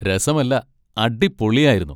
രസമല്ല, അടിപൊളിയായിരുന്നു!